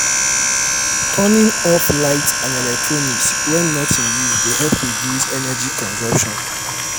turning off lights and electronics when not in use dey help reduce energy consumption.